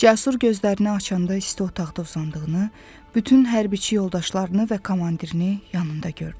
Cəsur gözlərini açanda isti otaqda uzandığını, bütün hərbçi yoldaşlarını və komandirini yanında gördü.